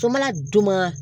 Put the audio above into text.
Fo n mana d'u ma